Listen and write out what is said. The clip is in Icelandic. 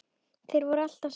Þeir voru alltaf saman.